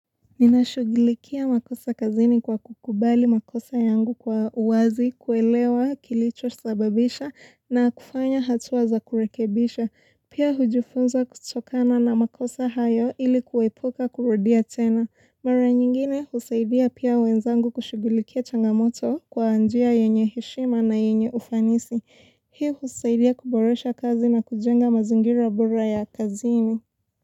Nina shughulikia makosa kazini kwa kukubali makosa yangu kwa uwazi, kuelewa, kilicho sababisha na kufanya hatua za kurekebisha. Pia hujufunza kutokana na makosa hayo ili kuepoka kurudia tena. Mara nyingine husaidia pia wenzangu kushughulikia changamoto kwa njia yenye hishima na yenye ufanisi. Hii husaidia kuboresha kazi na kujenga mazingira bora ya kazini.